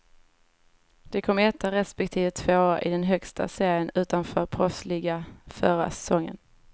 De kom etta respektive tvåa i den högsta serien utanför proffsligan förra säsongen.